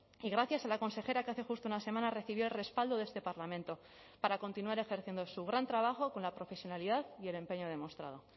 y gracias a la consejera que hace justo una semana recibió el respaldo de este parlamento para continuar ejerciendo su gran trabajo con la profesionalidad y el empeño demostrado